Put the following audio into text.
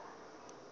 a nga ri ki na